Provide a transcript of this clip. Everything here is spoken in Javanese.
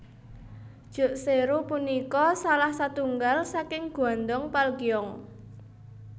Jukseoru punika salah satunggal saking Gwandong Palgyeong